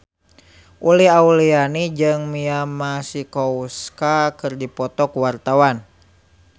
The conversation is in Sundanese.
Uli Auliani jeung Mia Masikowska keur dipoto ku wartawan